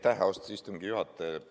Aitäh, austatud istungi juhataja!